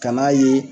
Kan'a ye